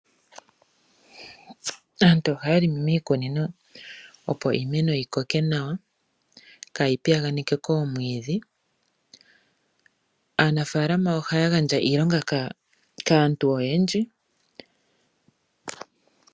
Aantu ohaya longo miikunino opo iimeno yikoke nawa, kaayi piyaganeke koomwiidhi. Aanafaalama ohaya gandja iilonga kaantu oyendji.